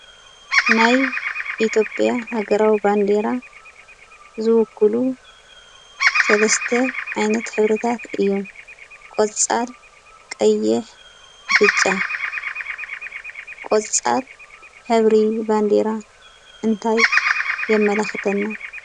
ናይ ኢትዮጵያ ሃገራዊ ባንዲራ ዝውክሉ ሰለስተ ዓይነት ሕብርታት እዮም። ቆፃል፣ ቀይሕ፣ ብጫ፣ ቆፃል ሕብሪ ባንዲራ እንታይ የመላኽተና?